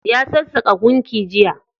Ya sassaƙa gunki jiya.